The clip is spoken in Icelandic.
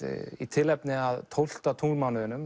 í tilefni af tólfta